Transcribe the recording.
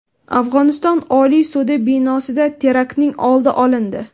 Afg‘oniston Oliy sudi binosida teraktning oldi olindi.